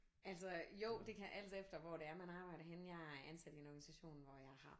Altså jo det kan alt efter hvor det er man arbejder henne jeg er ansat i en organisation hvor jeg har